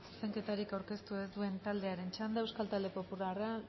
zuzenketarik aurkeztu ez duen taldearen txanda euskal talde popularra